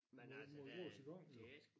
Men altså der er det ik sgu